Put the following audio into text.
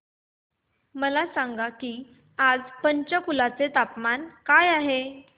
मला सांगा की आज पंचकुला चे तापमान काय आहे